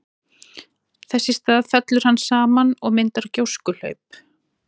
Þess í stað fellur hann saman og myndar gjóskuhlaup.